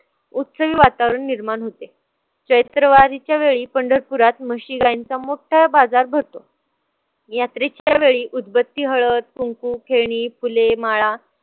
उत्सवी वातावरण निर्माण होते. चैत्र वारीच्या वेळी पंढरपुरात म्हशी-गायींचा मोठा बाजार भरतो. यात्रेच्या वेळी उदबत्ती, हळद, कुंकू, खेळणी, फुले, माळा